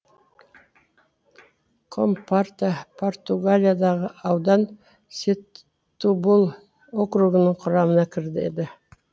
компорта португалиядағы аудан сетубул округінің құрамына кіреді